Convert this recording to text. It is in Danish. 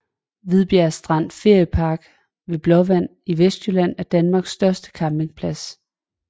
Hvidbjerg Strand Feriepark ved Blåvand i Vestjylland er Danmarks største campingplads